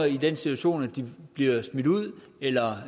i den situation at de bliver smidt ud eller